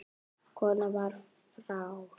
Konan var frá